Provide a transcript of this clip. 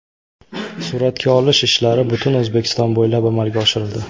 Suratga olish ishlari butun O‘zbekiston bo‘ylab amalga oshirildi.